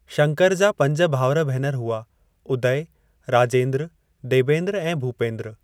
शंकर जा पंज भाउर-भेनर हुआ - उदय, राजेंद्र, देबेंद्र ऐं भूपेंद्र।